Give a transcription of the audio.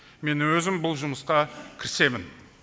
мен өзім бұл жұмысқа кірісемін